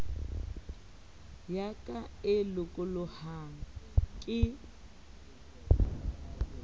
ya ka e lokolohang ke